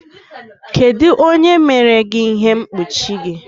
Kedu onye mere gị ihe mkpuchi gị?